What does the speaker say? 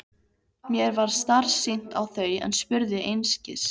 Mér varð starsýnt á þau en spurði einskis.